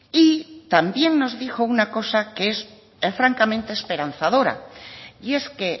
y también nos dijo una cosa que es francamente esperanzadora y es que